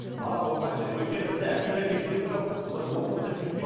бала болғанша деп өйткені бізде әкелер мектебі жоқ бұлар оқу бітіріп